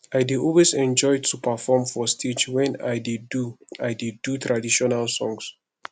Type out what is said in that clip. i dey always enjoy to perform for stage wen i dey do i dey do traditional songs